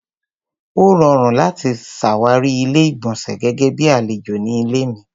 Ó rọrùn láti ṣàwárí Ilé-ìgbọ̀nsẹ̀ gẹ́gẹ́ bíi àlejò ní ilé mi.